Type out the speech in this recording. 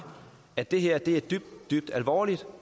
at det her er dybt dybt alvorligt